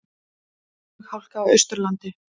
Flughálka á Austurlandi